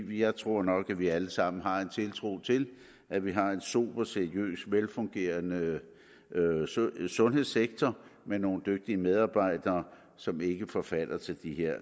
jeg tror nok at vi alle sammen har tiltro til at vi har en sober seriøs og velfungerende sundhedssektor med nogle dygtige medarbejdere som ikke forfalder til det her